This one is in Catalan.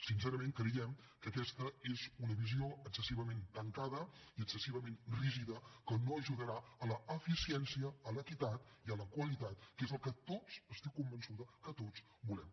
sincerament creiem que aquesta és una visió excessivament tancada i excessivament rígida que no ajudarà a l’eficiència a l’equitat i a la qualitat que és el que tots n’estic convençuda volem